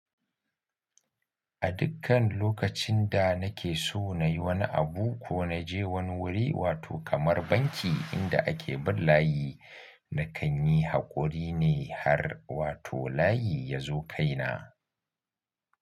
A dukkan lokacin da nake so na yi wani abu ko na je wani wuri wato kamar banki inda ake bin layi, na kan yi haƙuri ne har wato layi ya zo kai na.